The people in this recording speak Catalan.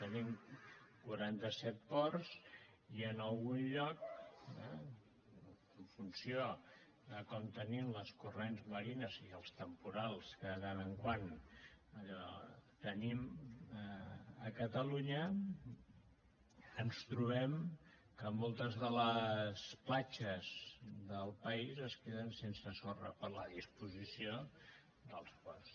tenim quaranta set ports i en algun lloc eh en funció de com tenim els corrents marins i els temporals que de tant en tant allò tenim a catalunya ens trobem que moltes de les platges del país es queden sense sorra per la disposició dels ports